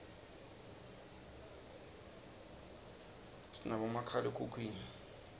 sanabomakhalekhukhutini